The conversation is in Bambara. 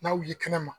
N'a wuli kɛnɛ ma